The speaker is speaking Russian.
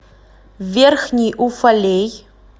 верхний уфалей